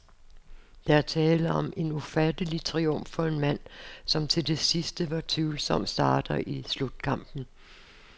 Der er tale om en ufattelig triumf for en mand, som til det sidste var tvivlsom starter i slutkampen.